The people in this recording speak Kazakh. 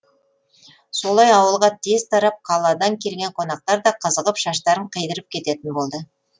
солай ауылға тез тарап қаладан келген қонақтар да қызығып шаштарын қидырып кететін болды